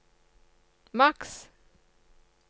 maks